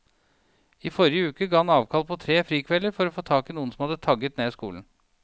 I forrige uke ga han avkall på tre frikvelder for å få tak i noen som hadde tagget ned skolen.